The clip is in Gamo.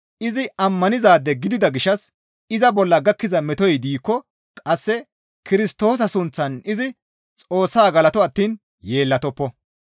Izi ammanizaade gidida gishshas iza bolla gakkiza metoy diikko qasse Kirstoosa sunththan izi Xoossaa galato attiin yeellatoppo.